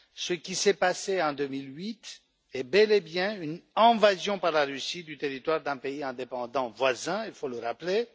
Ce qui s'est passé en 2008 est bel et bien une invasion par la Russie du territoire d'un pays indépendant voisin, il faut le rappeler.